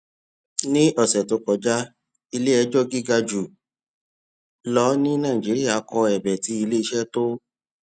ní ọsẹ tó kọjá ilé ẹjọ gíga jù lọ ní nàìjíríà kọ ẹbẹ tí iléiṣẹ tó